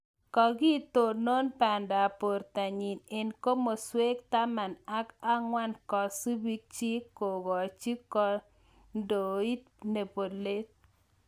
Kagitonoon banda ap bortanyii eng komasweek taman ak angwan kasubiik chiik kogajo kondit nepolet.